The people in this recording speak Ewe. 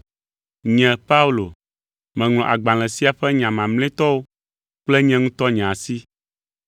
Nye Paulo, meŋlɔ agbalẽ sia ƒe nya mamlɛtɔwo kple nye ŋutɔ nye asi.